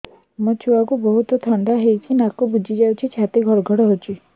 ମୋ ଛୁଆକୁ ବହୁତ ଥଣ୍ଡା ହେଇଚି ନାକ ବୁଜି ଯାଉଛି ଛାତି ଘଡ ଘଡ ହଉଚି